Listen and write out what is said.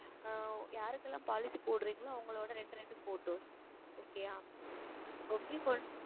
ஆஹ் யாருக்கெல்லாம் Policy போடுகிறீர்களோ அவர்களுடைய இரெண்டு இரெண்டு PhotosOkay ஆ Okay